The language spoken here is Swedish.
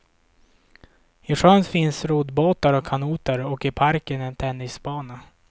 I sjön finns roddbåtar och kanoter och i parken en tennisbana.